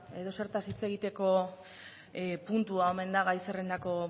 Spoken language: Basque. edozertaz hitz egiteko puntua omen da gai zerrendako